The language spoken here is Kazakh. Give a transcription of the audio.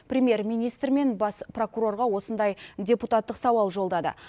премьер министр мен бас прокурорға осындай депутаттық сауал жолдады